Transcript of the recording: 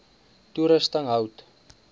toerusting hout